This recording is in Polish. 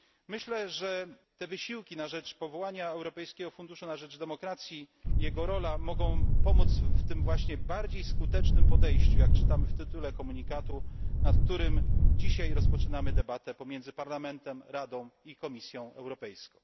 Myślę, że te wysiłki na rzecz powołania Europejskiego Funduszu na rzecz Demokracji, jego rola mogą pomóc w tym właśnie bardziej skutecznym podejściu, jak czytamy w tytule komunikatu, nad którym dzisiaj rozpoczynamy debatę pomiędzy Parlamentem, Radą i Komisją Europejską.